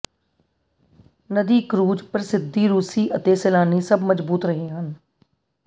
ਨਦੀ ਕਰੂਜ਼ ਪ੍ਰਸਿੱਧੀ ਰੂਸੀ ਅਤੇ ਸੈਲਾਨੀ ਸਭ ਮਜ਼ਬੂਤ ਰਹੇ ਹਨ